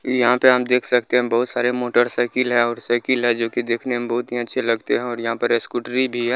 यहाँ पे आप देख सकते है बहुत सारे मोटरसाइकिल है और साइकिल है जो कि देखने में बहुत ही अच्छे लगते है और यहाँ पे स्कूटरी भी है।